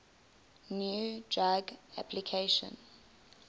new drug application